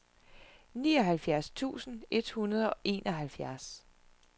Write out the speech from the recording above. nioghalvfjerds tusind et hundrede og enoghalvfjerds